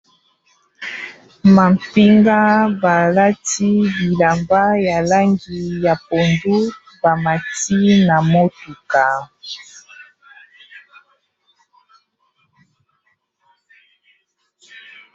Mapinga balati bilamba ya langi ya pondu ba mati na motuka.